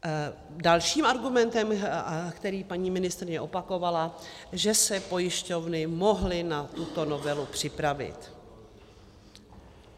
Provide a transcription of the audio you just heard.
Dalším argumentem, který paní ministryně opakovala, že se pojišťovny mohly na tuto novelu připravit.